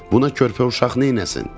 Buna körpə uşaq neyləsin?